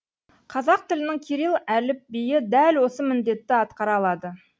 қазақ тілінің кирилл әліпбиі дәл осы міндетті атқара алады